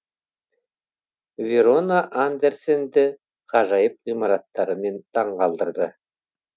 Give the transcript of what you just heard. верона андерсенді ғажайып ғимараттарымен таңғалдырды